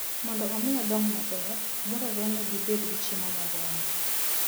Mondo omi odong maber, dwarore ni gibed gi chiemo moromo.